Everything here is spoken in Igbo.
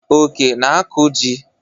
Oke na-akụ ji.